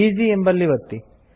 easy ಎಂಬಲ್ಲಿ ಒತ್ತಿ